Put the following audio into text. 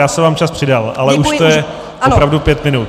Já jsem vám čas přidal, ale už to je opravdu pět minut.